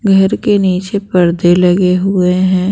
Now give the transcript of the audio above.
घर के नीचे पर्दे लगे हुए हैं।